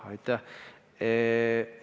Aitäh!